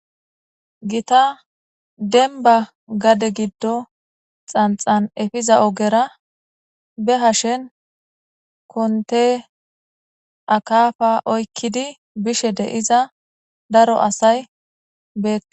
gita denba gade giddo xanxan efiza ogera be hashen konte akafa oykkidi bishe de iza daro asay beea